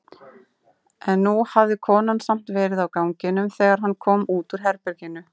En nú hafði konan samt verið á ganginum þegar hann kom út úr herberginu.